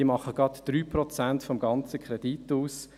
Diese machen gerade einmal 3 Prozent des ganzen Kredits aus.